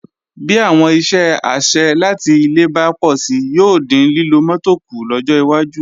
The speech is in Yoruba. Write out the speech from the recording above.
Bí àwọn iṣẹ́ àṣẹ láti ilé bá pọ̀si yóò dín lílo mọ́tò kù lọ́jọ́ iwájú